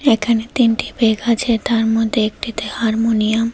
এখানে তিনটি বেগ আছে তার মধ্যে একটিতে হারমোনিয়াম ।